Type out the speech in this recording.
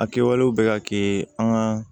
A kɛwalew bɛ ka kɛ an ka